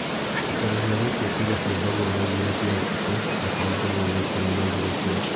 Ciikaro cia gũikia kura ciambagwo thaa igĩrĩ cia ũtukũ na cihingwo thaa ikũmi na igĩrĩ cia.